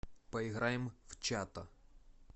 поиграем в чато